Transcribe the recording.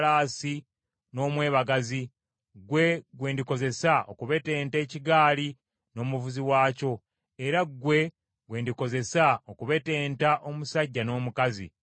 era ggwe gwe ndikozesa okubetenta embalaasi n’omwebagazi, ggwe gwe ndikozesa okubetenta ekigaali n’omuvuzi waakyo,